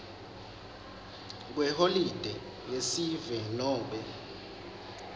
kweholide yesive nobe